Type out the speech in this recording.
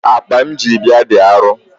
Akpa m ji bịa dị arọ.